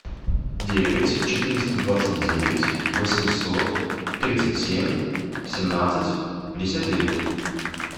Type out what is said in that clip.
девять четыреста двадцать девять восемьсот тридцать семь семнадцать пятьдесят девять